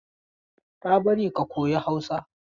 Tabari ka koyi Hausa!